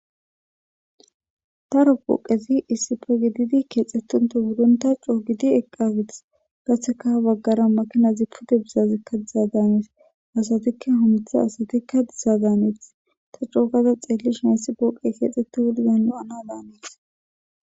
Daro puqezi issife gididi keexxettunto gudonta coo gidi eqqafites gatseka baggara makinazi pude bizazekka diza daanees asatikka humtha asatikka dizadaaneeth ta cougaza xeellish hayssi puuqe keexxetti wuridan lo7ana daaneth.